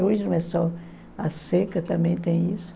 Hoje não é só a seca, também tem isso.